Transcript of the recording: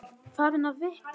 Farin að fitna.